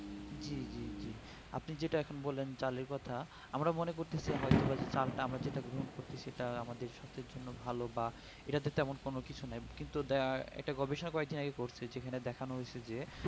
আপনি যেটা এখন বললেন চালের কথা আমরা মনেকরছি হয়তো চালতা এম যেটা গ্রহণ করছি সেটা আমাদের স্বাস্থ্যের ভালো বা এটা তেমন কোনো কিছু নাই কিন্তু দা এটা গবেষনা করার তিনারা করছেন যেখানে দেখানো হচ্ছে যে